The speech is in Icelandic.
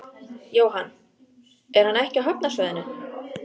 Jóhann: Er hann ekki á hafnarsvæðinu?